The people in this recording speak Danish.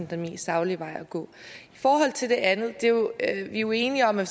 den mest saglige vej at gå i forhold til det andet er vi jo enige om at